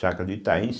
Chácara do Itaim.